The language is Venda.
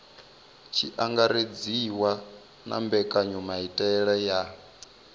tshi angaredziwa na mbekanyamaitele ya